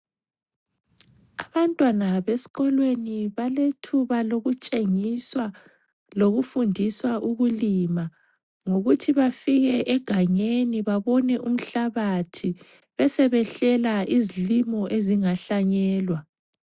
Abantwana besikolweni balethuba lokutshengiswa lokufundiswa ukulima. Ngokuthi bafike egangeni babone umhlabathi besebehlela izilimo ezingahlanyelwa.